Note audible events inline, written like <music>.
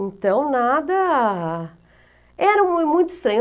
Então, nada... Era <unintelligible> muito estranho.